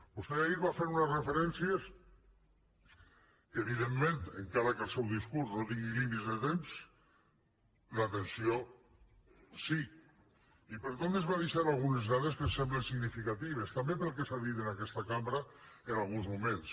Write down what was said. vostè ahir va fer unes referències que evidentment encara que el seu discurs no tingui límits de temps l’atenció sí i per tant ens va deixar algunes dades que em semblen significatives també pel que s’ha dit en aquesta cambra en alguns moments